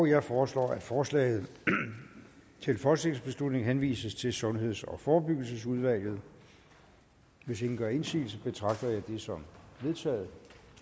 jeg foreslår at forslaget til folketingsbeslutning henvises til sundheds og forebyggelsesudvalget hvis ingen gør indsigelse betragter jeg det som vedtaget